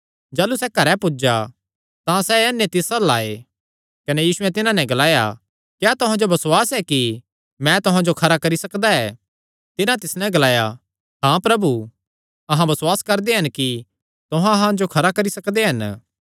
जाह़लू सैह़ घरैं पुज्जा तां सैह़ अन्ने तिस अल्ल आये कने यीशुयैं तिन्हां नैं ग्लाया क्या तुहां जो बसुआस ऐ कि मैं तुहां जो खरा करी सकदा ऐ तिन्हां तिस नैं ग्लाया हाँ प्रभु अहां बसुआस करदे हन कि तुहां अहां जो खरे करी सकदे हन